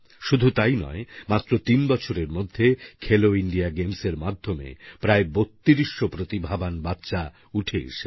শুধু তাই নয় মাত্র তিন বছরের মধ্যে খেলো ইন্ডিয়া গেমস এর মাধ্যমে প্রায় বত্রিশ শো প্রতিভাবান বাচ্চা উঠে এসেছে